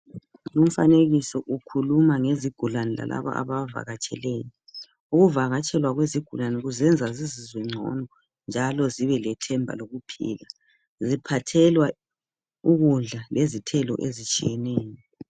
Umfanekiso ukhuluma ngezigulani lalaba ababavakatsheleyo. Ukuvakatshelwa kwezigulani kuzenza zizizwe ngcono njalo zibelethemba lokuphila. Ziphathelwa ukudla lezithelo ezitshiyeneyo.